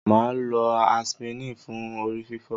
Maa lo aspirin fun orififo.